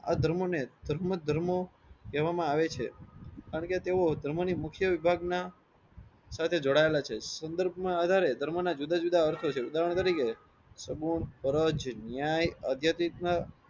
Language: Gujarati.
આ ધર્મોને ધર્મ વાત ધર્મો કેવામાં આવે છે. કારણ કે તેઓ ધર્મ ની મુખ્ય વિભાગ ના સાથે જોડાયેલા છે. સંદર્ભ ના આધારે ધર્મો ના જુદા જુદા અર્થ છે. ઉદાહરણ તરીકે સમૂહ, ધ્વજ, ન્યાય અદ્યત રીત ના